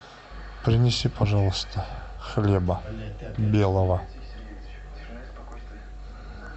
принеси пожалуйста хлеба белого